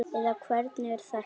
eða hvernig er þetta?